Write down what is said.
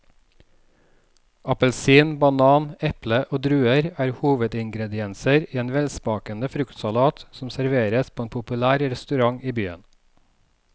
Appelsin, banan, eple og druer er hovedingredienser i en velsmakende fruktsalat som serveres på en populær restaurant i byen.